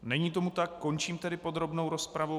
Není tomu tak, končím tedy podrobnou rozpravu.